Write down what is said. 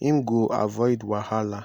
im go avoid wahala.